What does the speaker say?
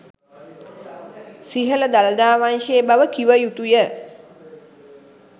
සිහල දළදා වංශය බව කිව යුතුය